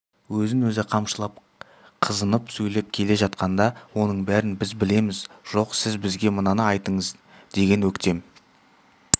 өзін өзі қамшылап қызынып сөйлеп келе жатқанда оның бәрін біз білеміз жоқ сіз бізге мынаны айтыңыз деген өктем